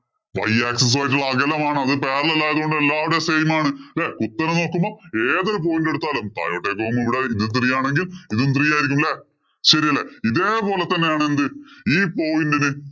Y axis ഉമായിട്ടുള്ള അകലം ആണ്. അത് parallel ആയതുകൊണ്ട് എല്ലായിടവും same ആണ്. ഉത്തരം നോക്കുമ്പോ ഏതൊരു point എടുത്താലും താഴോട്ടേക്ക് പോകുമ്പോള്‍ ഇവിടെ three ആണെങ്കില്‍ ഇതും ` three ആയിരിക്കും. അല്ലേ? ശരിയല്ലേ? ഇതേപോലെ തന്നെയാണ് എന്ത്? ഈ point ഇന്